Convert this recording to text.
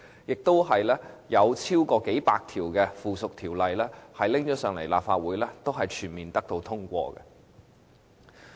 此外，還有超過數百項附屬條例提交立法會，全部均獲通過。